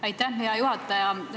Aitäh, hea juhataja!